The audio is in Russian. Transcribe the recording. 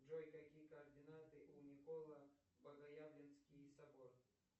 джой какие координаты у николо богоявленский собор